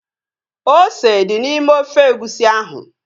Ose dị n'ime ofe egusi ahu